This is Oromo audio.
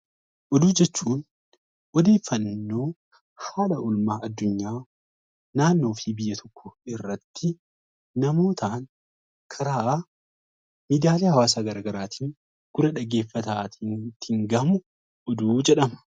Oduu jechuun odeeffannoo haala oolmaa adunyaa, irratti yemmuu ta'an, karaa miidiyaalee hawaasaa garaagaraatiin gurra dhaggeeffataa ittiin gahamu oduu jedhama.